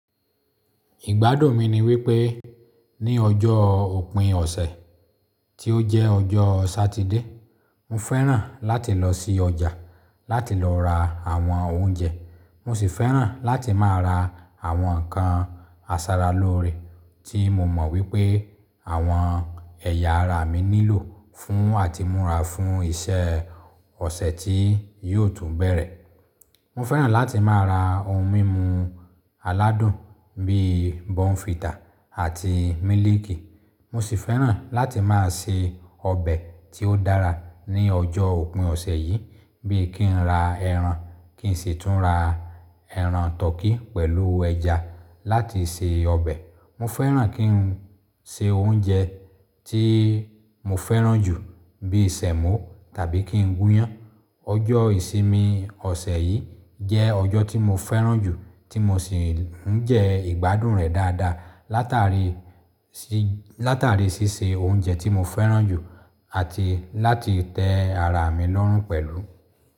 Ìgbádùn mi ni wípé ní ọjọ́ òpin ọ̀sẹ̀ tí ó jẹ́ ọjọ́ Satide. Mo fẹ́ràn láti lọ sí ọjà láti lọ ra àwọn oúnjẹ. Mo sì fẹ́ràn láti máa ra àwọn ǹkan asaraloore tí mo mọ̀ wípé àwọn ẹ̀yà ara mi nílò fún àtimúra fún iṣẹ́ ọ̀sẹ̀ tí yóò tún bẹ̀rẹ̀. Mo fẹ́ràn láti máa ra ohun mímu aládùn bí i Bonefita àti mílíìkì. Mo sì fẹ́ràn láti máa se ọbẹ̀ tí ó dára ní ọjọ́ òpin ọ̀sẹ̀ yìí bí i kí n ra ẹran, kí n sì tún ra ẹran turkey pẹ̀lú ẹja láti se ọbẹ̀. Mo fẹ́ràn kí n se oúnjẹ tí mo fẹ́ràn jù bí i Sẹ̀mọ́ tàbí kí n gúnyán. Ọjọ́ ìsinmi ọ̀sẹ̀ yìí jẹ́ ọjọ́ tí mo fẹ́ràn jù tí mo sì ń jẹ ìgbádùn rẹ̀ dáadáa látàrí sí, látàrí ṣíṣe oúnjẹ tí mo fẹ́ràn jù àti láti tẹ́ ara mi lọ́rùn pẹ̀lú.